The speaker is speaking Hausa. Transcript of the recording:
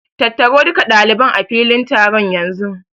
Tattaro duka ɗaliban a filin taron yanzu!